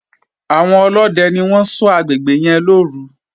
Àwọn ọlódẹ ló ṣọ́ agbègbè yẹn lọ́òru